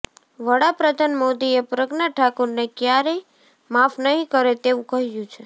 વડા પ્રધાન મોદીએ પ્રજ્ઞા ઠાકુરને ક્યારેય માફ નહીં કરે તેવું કહ્યું છે